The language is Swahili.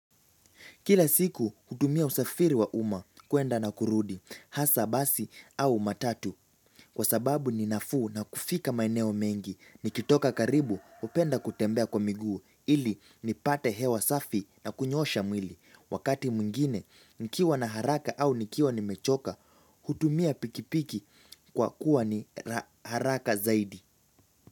Kila siku hutumia usafiri wa uma kuenda na kurudi hasa basi au matatu kwa sababu ninafuu na kufika maeneo mengi. Nikitoka karibu hupenda kutembea kwa miguu ili nipate hewa safi na kunyosha mwili. Wakati mwingine nikiwa na haraka au nikiwa nimechoka hutumia pikipiki kwa kuwa ni haraka zaidi.